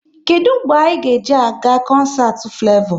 Kedụ mgbe anyị ga eji a ga koncert Flevo?